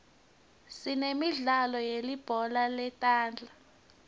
sinemidlalo yelibhola letandla